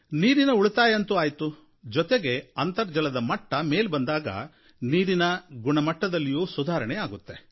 ನೀರಿನ ಉಳಿತಾಯ ಅಂತೂ ಆಯಿತು ಜೊತೆಗೆ ಅಂತರ್ಜಲದ ಮಟ್ಟ ಮೇಲೆ ಬಂದಾಗ ನೀರಿನ ಗುಣಮಟ್ಟದಲ್ಲಿಯೂ ಸುಧಾರಣೆ ಆಗುತ್ತೆ